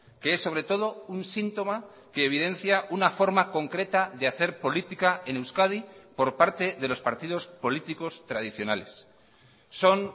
que es sobre todo un síntoma que evidencia una forma concreta de hacer política en euskadi por parte de los partidos políticos tradicionales son